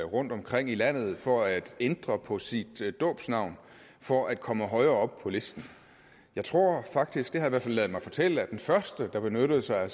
rundtomkring i landet for at ændre på sit dåbsnavn for at komme højere op på listen jeg tror faktisk det har jeg i hvert fald ladet mig fortælle at den første der benyttede sig af